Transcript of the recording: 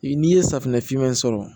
N'i ye safunɛ fiman in sɔrɔ